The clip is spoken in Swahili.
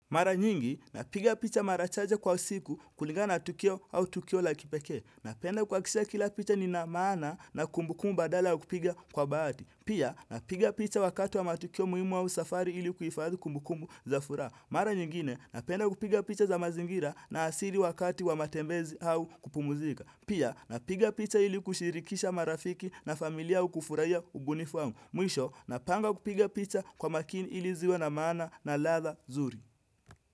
Mara nyingi, napiga picha mara chache kwa usiku kulingana na tukio au tukio la kipekee. Napenda kuhakikisha kila picha lina maana na kumbukumbu badala au kupiga kwa bahati. Pia, napiga picha wakati wa matukio muhimu au safari ili kuifadhi kumbukumbu za furaha. Mara nyingine, napenda kupiga picha za mazingira na asili wakati wa matembezi au kupumuzika. Pia, napiga picha ili kushirikisha marafiki na familia au kufurahia ubunifu wangu. Mwisho, napanga kupiga picha kwa makini ili ziwe na maana na ladha zuri.